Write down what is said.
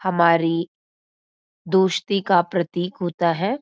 हमारी दोस्ती का प्रतीक होता है।